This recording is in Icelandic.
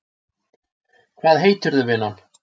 Hvað heitirðu vinan?